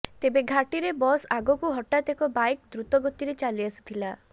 ତେବେ ଘାଟିରେ ବସ ଆଗକୁ ହଠାତ୍ ଏକ ବାଇକ ଦୃତଗତିରେ ଚାଲିଆସିଥିଲା